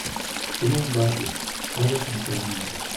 кино барби сказочная страна моды